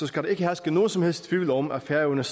skal der ikke herske nogen som helst tvivl om at færøerne